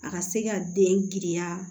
A ka se ka den girinya